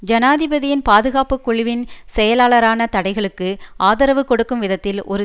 ஜனாதிபதியின் பாதுகாப்பு குழுவின் செயலாளரான தடைகளுக்கு ஆதரவு கொடுக்கும் விதத்தில் ஒரு